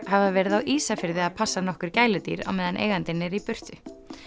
hafa verið á Ísafirði að passa nokkur gæludýr á meðan eigandinn er í burtu